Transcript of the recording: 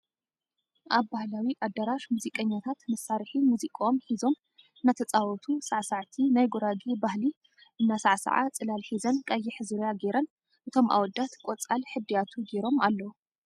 ኣብ ባህላዊ ኣዳራሽ ሙዚቀኛታት መሳርሒ ሙዚቅኦም ሒዞም እናተፃወቱ ሳዕሳዕቲ ናይ ጉራጌ ባህሊ እና ሳዕሳዓ ፅላል ሒዘን ቀይሕ ዙርያ ጌረን እቶም ኣወዳት ቆፃል እድያቱ ጌሮም ኣለዉ ።